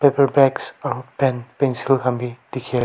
aru pen pencil khan bhi dekhia--